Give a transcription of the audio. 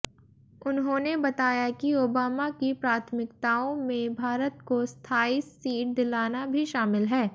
उन्होंने बताया कि ओबामा की प्राथमिकताओं में भारत को स्थायी सीट दिलाना भी शामिल है